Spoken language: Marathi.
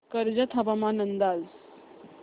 कर्जत हवामान अंदाज